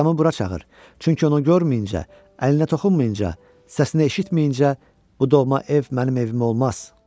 Atamı bura çağır, çünki onu görməyincə, əllərinə toxunmayınca, səsini eşitməyincə bu doğma ev mənim evim olmaz.